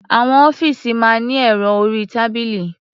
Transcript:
Àwọn ọ́fíìsì máa ní ẹ̀rọ orí-tábìlì.